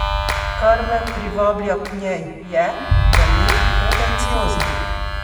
Kar me privablja k njej je, da ni pretenciozna.